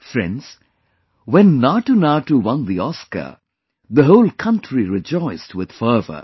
Friends, when NatuNatu won the Oscar, the whole country rejoiced with fervour